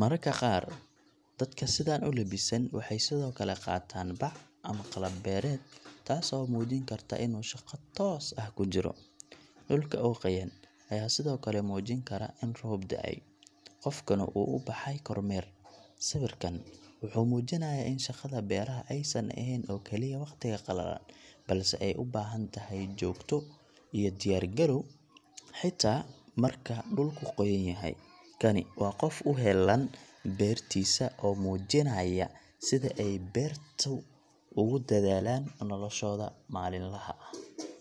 Mararka qaar, dadka sidaan u lebisan waxay sidoo kale qaataan bac ama qalab beereed, taas oo muujin karta in uu shaqo toos ah ku jiro. Dhulka oo qoyan ayaa sidoo kale muujin kara in roob da’ay, qofkuna uu u baxay kormeer. Sawirkan wuxuu muujinayaa in shaqada beeraha aysan ahayn oo kaliya waqtiga qalalan, balse ay u baahan tahay joogto iyo diyaar garow, xitaa marka dhulku qoyan yahay. Kani waa qof u heellan beertiisa oo muujinaya sida ay beeraleydu ugu dadaalaan noloshooda maalinlaha ah.